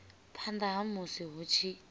phanda ha musi hu tshi